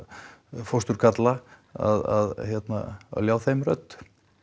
fósturgalla að ljá þeim röddu